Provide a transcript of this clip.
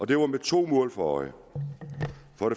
det var med to mål for øje